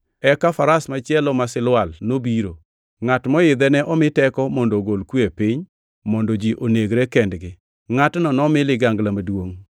Eka faras machielo ma silwal nobiro. Ngʼat moidhe ne omi teko mondo ogol kwe e piny, mondo ji onegre kendgi. Ngʼatno nomi ligangla maduongʼ!